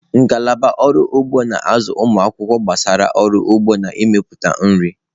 Ngalaba ọrụ ugbo na-azụ ụmụ akwụkwọ gbasara ọrụ ugbo na mmepụta nri.